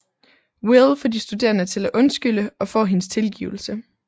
Will får de studerende til at undskylde og får hendes tilgivelse